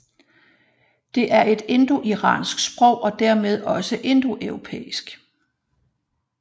Det er et indoiransk sprog og dermed også indoeuropæisk